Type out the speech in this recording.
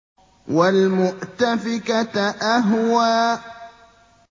وَالْمُؤْتَفِكَةَ أَهْوَىٰ